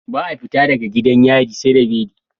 Ba a fita daga gidan yari seda beli